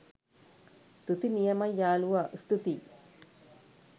තුති නියමයි යාළුවා ස්තුතියි